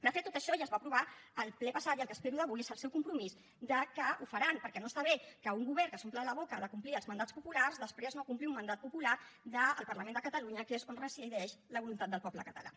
de fet tot això ja es va aprovar al ple passat i el que espero d’avui és el seu compromís que ho faran perquè no està bé que un govern que s’omple la boca de complir els mandats populars després no compleixi un mandat popular del parlament de catalunya que és on resideix la voluntat del poble català